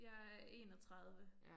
Jeg er 31